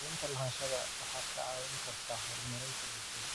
Cadaynta lahaanshaha waxay kaa caawin kartaa horumarinta bulshada.